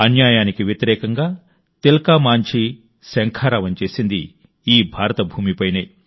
అన్యాయానికి వ్యతిరేకంగా తిల్కా మాంఝీ శంఖారావం చేసింది ఈ భారత భూమిపైనే